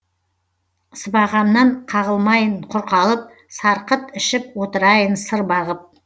сыбағамнан қағылмайын құр қалып сарқыт ішіп отырайын сыр бағып